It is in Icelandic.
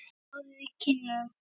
Rjóður í kinnum.